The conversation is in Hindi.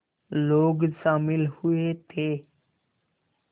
लोग शामिल हुए थे